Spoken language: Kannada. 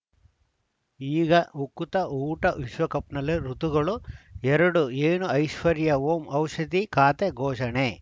ಈಗ ಉಕುತ ಊಟ ವಿಶ್ವಕಪ್‌ನಲ್ಲಿ ಋತುಗಳು ಎರಡು ಏನು ಐಶ್ವರ್ಯಾ ಓಂ ಔಷಧಿ ಖಾತೆ ಘೋಷಣೆ